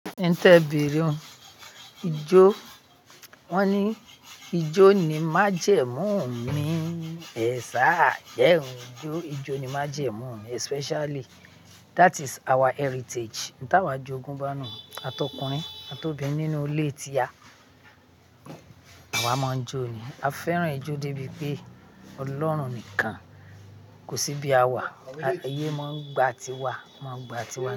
N tẹ beere un, ijó, wón ní ijó ni májẹmú mi, e saá, jẹ n jó, ijó ni májẹmú mi especially that is our heritage. N tawa jogún bá nu-un, àtọkùnrin, àtobìnrin nínú ilé tíá, àwá má n jó ni. A fẹràn ijó débi pé Ọlọ́run nìkàn kò síbí a wà, ayé má n gba tiwà, won maá n gba tiwà.